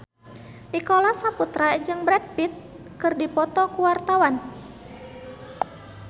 Nicholas Saputra jeung Brad Pitt keur dipoto ku wartawan